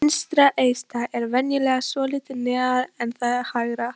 Vinstra eistað er venjulega svolítið neðar en það hægra.